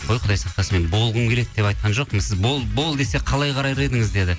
қой құдай сақтасын мен болғым келеді деп айтқан жоқпын сіз бол десе қалай қарар едіңіз деді